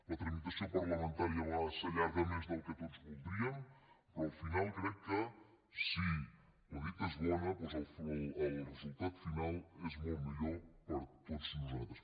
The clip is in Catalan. la tramitació parlamentària a vegades s’allarga més del que tots voldríem però al final crec que si la dita és bona doncs el resultat final és molt millor per a tots nosaltres